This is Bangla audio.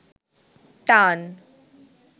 টান